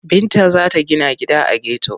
Binta za ta gina gida a geto.